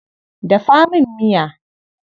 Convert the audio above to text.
Dafa min miya.